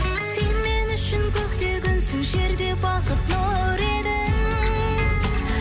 сен мен үшін көкте күнсің жерде бақыт нұр едің